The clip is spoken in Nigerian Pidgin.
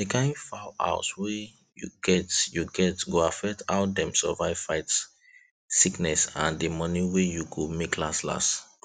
d kind fowl house were u get u get go affect how dem survive fight sickness and the money wey you go make lastlast